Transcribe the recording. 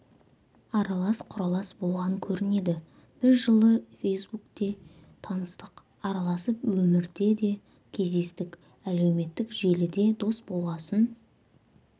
аралас-құралас болған көрінеді біз жылы фейсбукте таныстық араласып өмірде де кездестік әлеуметтік желіде дос болғасын